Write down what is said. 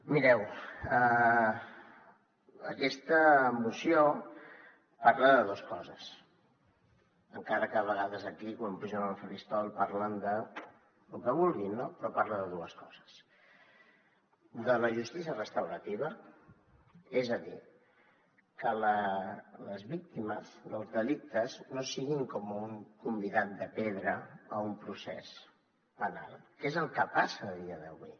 mireu aquesta moció parla de dos coses encara que a vegades aquí quan pugen al faristol parlen de lo que vulguin no però parla de dues coses de la justícia restaurativa és a dir que les víctimes dels delictes no siguin com un convidat de pedra a un procés penal que és el que passa a dia d’avui